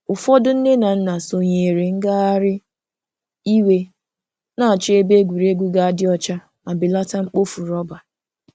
Ụfọdụ nne na nna sonyeere ngagharị iwe na-achọ ebe egwuregwu ga-adị ọcha ma belata mkpofu rọba.